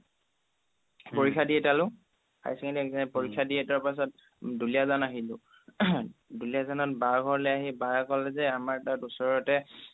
পৰীক্ষা দি এতালো higher secondary পৰীক্ষা দি এতোৱাৰ পিছত দুলীয়াজান আহিলো দুলীয়াজানত বাৰ ঘৰলে আহি বাৰ ক'লে যে আমাৰ তাত ওচৰতে